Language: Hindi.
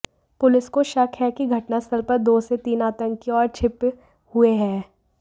पुलिस को शक है कि घटनास्थल पर दो से तीन आतंकी और छिप हुए हैं